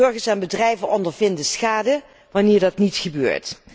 Burgers en bedrijven ondervinden schade wanneer dat niet gebeurt.